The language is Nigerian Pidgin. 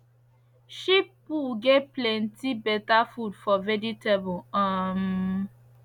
sheep poo get plenty better food for vegetable um